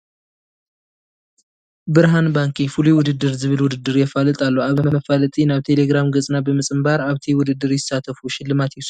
ብርሃን ባንኪ ፍሉይ ውድድር ዝብል ውድድር የፋልጥ ኣሎ፡፡ ኣብዚ መፋለጢ ናብ ቴለግራም ገፅና ብምፅምባ ኣብቲ ውድድር ይሳተፉ ሽልማት ይውሰዱ ይብል፡፡ እዚ ከዓ ደስ በሃሊ እዩ፡፡